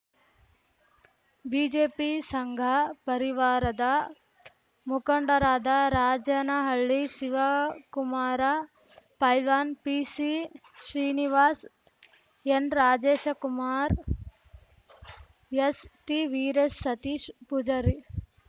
BJP ಸಂಘ ಪರಿವಾರದ ಮುಖಂಡರಾದ ರಾಜನಹಳ್ಳಿ ಶಿವಕುಮಾರ ಪೈಲ್ವಾನ್‌ ಪಿಸಿಶ್ರೀನಿವಾಸ್ ಎನ್‌ರಾಜಶೇಖ ಕುಮಾರ್ ಎಸ್‌ಟಿವೀರೇಶ್ ಸತೀಶ್ ಪೂಜಾರಿ